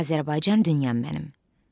Azərbaycan dünyam mənim.